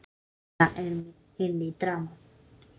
greip Lena inn í dramað.